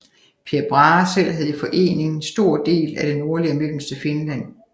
Per Brahe selv havde i forlening en stor del af det nordlige og mellemste Finland